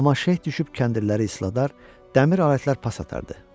Amma şeh düşüb kəndirləri isladar, dəmir alətlər pas atardı.